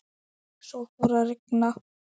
Svo fór að rigna.